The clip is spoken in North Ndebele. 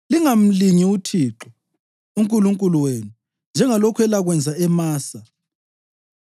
Lingamlingi uThixo uNkulunkulu wenu njengalokhu elakwenza eMasa.